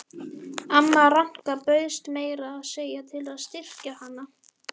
Amma Ranka bauðst meira að segja til að styrkja hana.